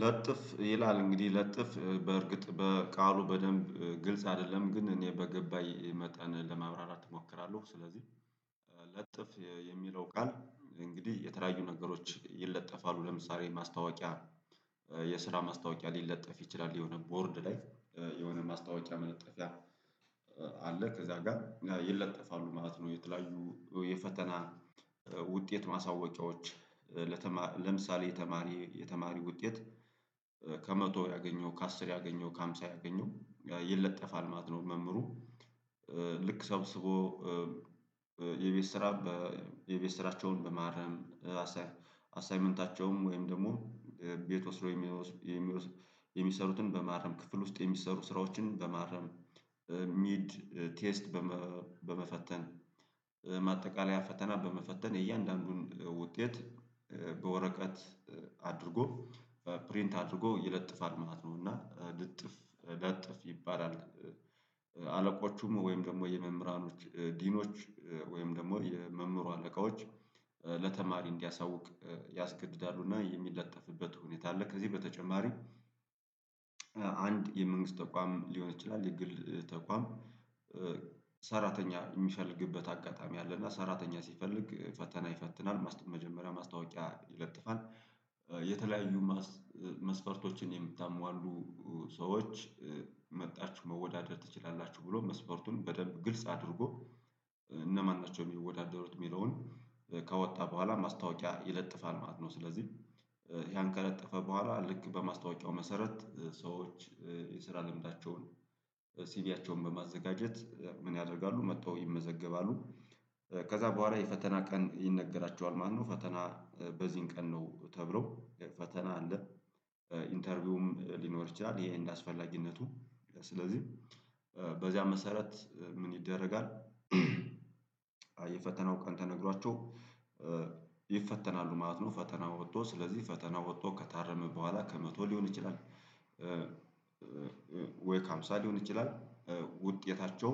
ለጥፍ ይላል እንግዲህ ለጥፍ በእርግጥ በቃሉ በደንብ ግልጽ አይደለም ግን እኔ በገባኝ መጠን ለመብራራት እሞክራለሁ ስለዚህ። ለጥፍ የሚለው ቃል እንግዲህ የተለያዩ ነገሮች ይለጠፋሉ ለምሳሌ ማስታወቂያ የስራ ማስታወቂያ ሊለጥፍ ይችላል የሆነ ቦርድ ላይ የሆነ ማስታወቂያ መለጠፊያ አለ ከዛ ጋር ይለጠፋሉ ማለት ነው። የተለያዩ የፈተና ውጤት ማሳወቂያዎች ለምሳሌ የተማሪ የተማሪ ውጤት ከመቶ ያገኘው ከአስር ያገኘው ከሃምሳ ያገኘው ይለጠፋል ማለት ነው። መምህሩ ልክ ሰብስቦ የቤት ስራ የቤት ስራቸውን በማረም አሳይመንታቸውም ወይም ደግሞ ቤት ወስዶ የሚሰሩትን በማረም ክፍል ውስጥ የሚሰሩ ስራዎችን በማረም ሚድ ቴስት በመፈተን ማጠቃለያ ፈተና በመፈተን የእያንዳንዱን ውጤት በወረቀት አድርጎ ፕሪንት አድርጎ ይለጥፋል ማለት ነው እና ልጥፍ ለጥፍ ይባላል። አለቆቹም ወይም ደግሞ የመምህራኖች ዲኖች ወይም ደግሞ የመምህሩ አለቆች ለተማሪ እንዲያሳውቅ ያስገድዳሉ እና የሚለጠፍበት ሁኔታ አለ። ከዚህ በተጨማሪም አንድ የመንግስት ተቋም ሊሆን ይችላል። የግል ተቋም ሰራተኛ የሚሻልግበት አጋጣሚ አለ። አለና ሰራተኛ ሲፈልግ ፈተና ይፈትናል መስጠት መጀመሪያ ማስታወቂያ ይለጥፋል። የተለያዩ መስፈርቶችን የምታሟሉ ሰዎች መጥታችሁ መወዳደር ትችላላችሁ ብሎ መስፈርቱን በደንብ ግልጽ አድርጎ እነማን ናቸው የሚወዳደሩት የሚለውን ከወጣ በኋላ ማስታወቂያ ይለጥፋል ማለት ነው። ስለዚህ ያን ከለጠፈ በኋላ ልክ በማስታወቂያው መሰረት ሰዎች የስራ ልምዳቸውን ሲቪያቸውን በማዘጋጀት ምን ያደርጋሉ መጥተው ይመዘገባሉ። ከዛ በኋላ የፈተና ቀን ይነገራቸዋል ማለት ነው። ፈተና በዚህን ቀን ነው ተብሎ ፈተና ኢንተርቪውም ሊኖር ይችላል። እንደ አስፈላጊነቱ ስለዚህ በዚያ መሰረት ምን ይደረጋል? የፈተናው ቀን ተነግሯቸው ይፈተናሉ ማለት ነው። ፈተና ወጥቶ ስለዚህ ፈተና ወጥቶ ከታረመ በኋላ ከመቶ ሊሆን ይችላል። ወይ ከአምሳሌ ሊሆን ይችላል ውጤታቸው